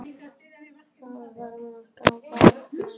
Það var margt á barnum.